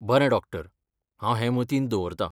बरें डॉक्टर! हांव हें मतींत दवरतां.